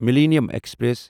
millennium express